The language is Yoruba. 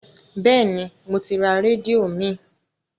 Bẹ́ẹ̀ni, mo ti ra rédíò mìí.